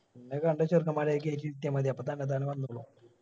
പിന്നെ കണ്ട ചെറുക്കൻമാരെ കേറ്റി ഇരിത്തിയ മതി അപ്പൊ തന്നത്താന വന്നോളും